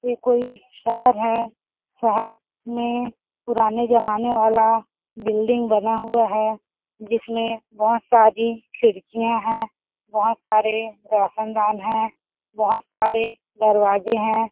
ये कोई शहर है शहर में पुराने जमाने वाला बिल्डिंग बना हुआ है जिसमें बहुत सारी खिड़कियां हैं बहुत सारे रोशनदान है बहुत सारे दरवाजे हैं।